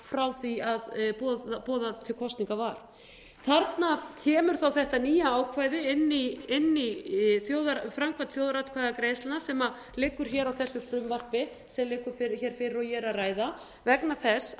frá því boðað til kosninga var þarna kemur þá þetta nýja ákvæði inn í framkvæmd þjóðaratkvæðagreiðslna sem liggur hér á þessu frumvarpi sem liggur hér fyrir og ég er að ræða vegna þess